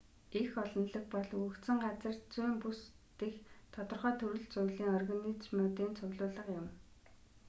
эх олонлог бол өгөгдсөн газар зүйн бүс дэх тодорхой төрөл зүйлийн организмуудын цуглуулга юм